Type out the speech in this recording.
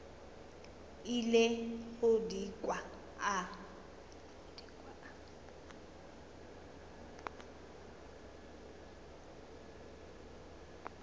ile go di kwa a